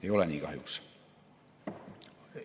Ei ole nii kahjuks.